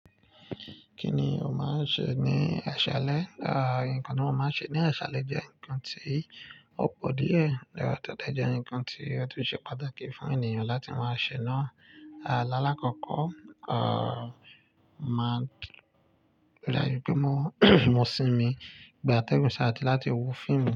Kí ni o máa ń ṣe ní àṣálẹ́? Nǹkan tí mo máa ń ṣe ní ṣálẹ́ jẹ́ nǹkan tí ó pọ̀ díẹ̀. Tó dẹ̀ jẹ́ nǹkan tí ó tún ṣe pàtàkì fún ènìyàn láti máa ṣe náà. Lálàkọ́kọ́, máa ń-- ìdájú pé mo mo sinmi bí a tẹ́gùn ṣáàjú láti wo fíìmù.